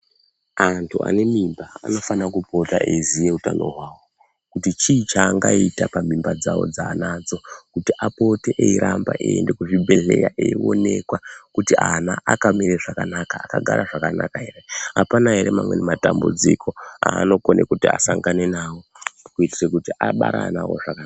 Antu ane mimba anofana kupota eiziya utano hwawo. Kuti chii chaangaita pamimba dzawo dzaanadzo. Kuti apote eiramba eienda kuzvibhendleya eionekwa kuti ana akamira zvakanaka, akagara zvakanaka here? Apana amweni matambudziko aanokone kuti asangana nawo kuitira kuti abare ana awo zvaka